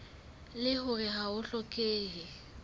leng hore ha ho hlokehe